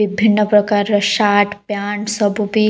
ବିଭିନ୍ନ ପ୍ରକାରର shirt pant ସବୁ ବି--